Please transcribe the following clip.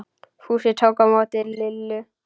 Fúsi tók á móti Lillu.